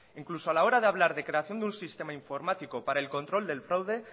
incluso a la hora de hablar de creación de un sistema informático para el control del fraude